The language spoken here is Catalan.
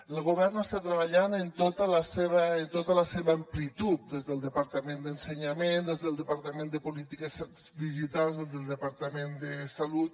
el govern està treballant en tota la seva amplitud des del departament d’ensenyament des del departament de polítiques digitals des del departament de salut